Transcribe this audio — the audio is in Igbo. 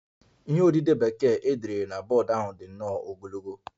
Ihe odide Bekee e dere na bọọdụ ahụ dị nnọọ ogologo